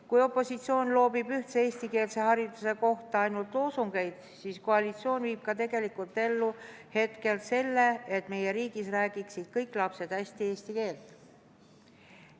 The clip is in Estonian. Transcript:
Kui opositsioon loobib ühtse eestikeelse hariduse kohta ainult loosungeid, siis koalitsioon viib ka tegelikult ellu selle, et meie riigis räägiksid kõik lapsed hästi eesti keelt.